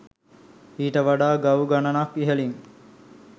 ඊට වඩා ගව් ගණනක් ඉහළින්